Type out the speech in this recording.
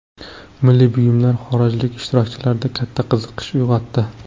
Milliy buyumlar xorijlik ishtirokchilarda katta qiziqish uyg‘otdi.